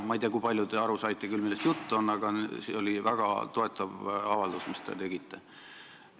Ma ei tea, kui palju te küll aru saite, millest jutt on, aga see oli väga toetav avaldus, mis te tegite.